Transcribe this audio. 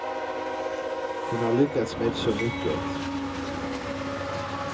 Hon har lyckats med så mycket.